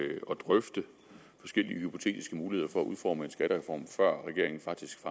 drøfte forskellige hypotetiske muligheder for at udforme en skattereform før regeringen faktisk